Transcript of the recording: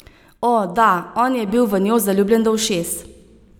O, da, on je bil v njo zaljubljen do ušes.